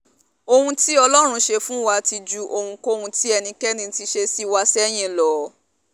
ohun tí ọlọ́run ṣe fún wa ti ju ohunkóhun tí ẹnikẹ́ni ti ṣe sí wa sẹ́yìn lọ